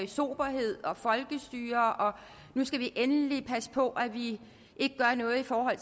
soberhed og folkestyre og at nu skal vi endelig passe på at vi ikke gør noget i forhold